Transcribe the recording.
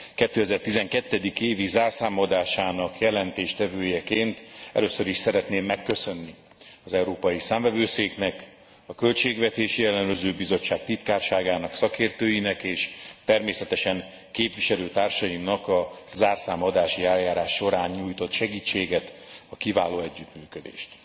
2012. évi zárszámadásának előadójaként először is szeretném megköszönni az Európai Számvevőszéknek, a Költségvetési Ellenőrző Bizottság titkárságának, szakértőinek és természetesen képviselőtársaimnak a zárszámadási eljárás során nyújtott segítséget, a kiváló együttműködést.